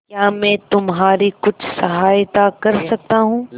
क्या मैं तुम्हारी कुछ सहायता कर सकता हूं